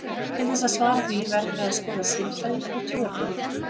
Til þess að svara því verðum við að skoða siðfræði og trúarbrögð.